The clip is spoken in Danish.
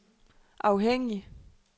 afhængig